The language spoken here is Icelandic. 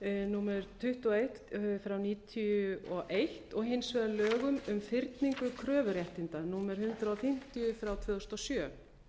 númer tuttugu og eitt nítján hundruð níutíu og eins og hins vegar lögum um fyrningu kröfuréttinda númer hundrað fimmtíu tvö þúsund og sjö